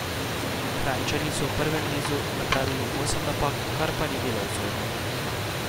Kranjčani so v prvem nizu napravili osem napak, kar pa ni bilo usodno.